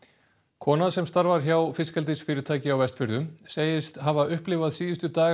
kona sem starfar hjá fiskeldisfyrirtæki á Vestfjörðum segist hafa upplifað síðustu daga